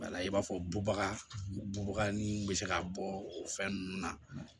Wala i b'a fɔ bubaga bubaga nun bɛ se ka bɔ o fɛn ninnu na